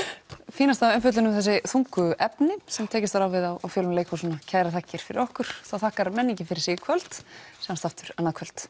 fínasta umfjöllun um þessi þungu efni sem tekist var á við á fjölum leikhúsanna kærar þakkir fyrir okkur þá þakkar menningin fyrir sig í kvöld sjáumst aftur annað kvöld